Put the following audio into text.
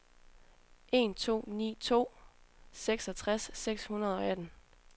en to ni to seksogtres seks hundrede og atten